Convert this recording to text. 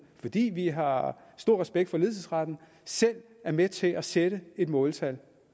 fordi vi har stor respekt for ledelsesretten selv er med til at sætte et måltal